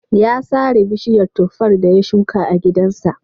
Ya sare bishiyar tuffar da ya shuka a gidansa.